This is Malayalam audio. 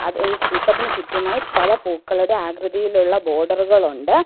ത് ഈ ശിൽപ്പത്തിന് ചുറ്റുമായി പല പൂക്കളുടെ ആകൃതിയിലുള്ള ബോഡറുകളുണ്ട് .